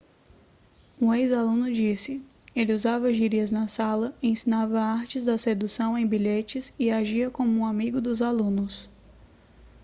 um ex-aluno disse ele usava gírias na sala ensinava artes da sedução em bilhetes e agia como um amigo dos alunos